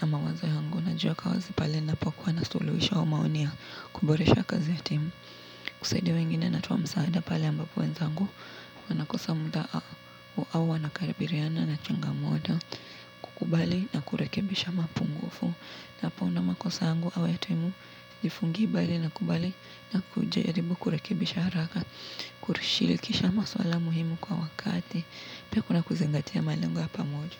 na mawazo yangu najiweka wazi pale ninapo kuwa na suluhisho wa maoni ya kuboresha kazi ya timu, kusaidia wengine natoa msaada pale ambapo wenzangu, wanakosa muda au wana kabiliana na changamoto, kukubali na kurekebisha mapungufu, ninapo ona makosa yangu au ya timu, sijifungi bali na kubali na kujaribu kurekebisha haraka, kulishirikisha maswala muhimu kwa wakati, pia kuna kuzingatia malengo ya pamoja.